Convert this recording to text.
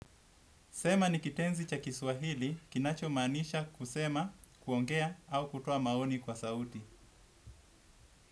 Sema nikitenzi cha kiswahili, kinacho manisha kusema, kuongea au kutoa maoni kwa sauti.